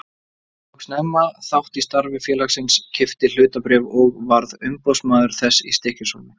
Ég tók snemma þátt í starfi félagsins, keypti hlutabréf og varð umboðsmaður þess í Stykkishólmi.